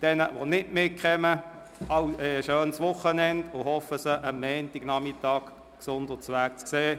Jenen, die nicht mitkommen, wünsche ich ein schönes Wochenende und hoffe, sie am Montagnachmittag gesund und munter wiederzusehen.